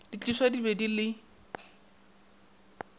di tliswa di be le